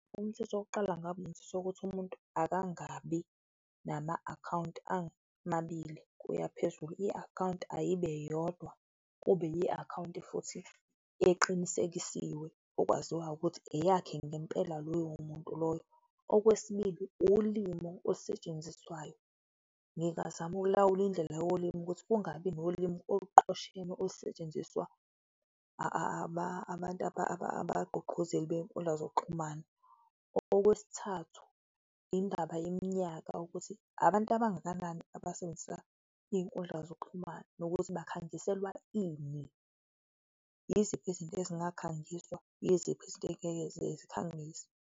Umthetho wokuqala ngabe yenziswa ukuthi umuntu akangabi nama akhawunti amabili kuyaphezulu, i akhawunti ayibe yodwa, kube yi akhawunti futhi eqinisekisiwe, okwaziwayo ukuthi eyakhe ngempela loyo muntu loyo. Okwesibili, ulimi olusetshenziswayo, ngingazama ukulawula indlela yolimi ukuthi kungabi nolimi oluqoshelwe olusetshenziswa abagqugquzeli benkundla zokuxhumana. Okwesithathu, indaba yeminyaka, ukuthi abantu abangakanani abasebenzisa izinkundla zokuxhumana nokuthi bakhangiselwa ini? Yiziphi izinto ezingakhangiswa? Yiziphi izinto ezingeke zikhangiswe?